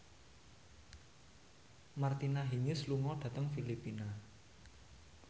Martina Hingis lunga dhateng Filipina